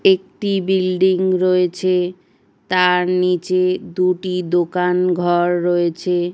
একটি বিল্ডিং রয়েছে তার নিচে দুটি দোকান ঘর রয়েছে ।